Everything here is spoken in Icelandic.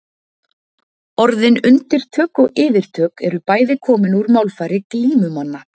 Orðin undirtök og yfirtök eru bæði komin úr málfari glímumanna.